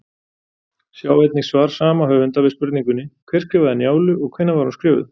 Sjá einnig svar sama höfundar við spurningunni: Hver skrifaði Njálu og hvenær var hún skrifuð?